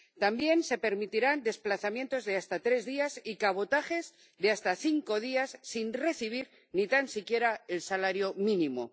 También se permitirán desplazamientos de hasta tres días y cabotajes de hasta cinco días sin recibir ni tan siquiera el salario mínimo.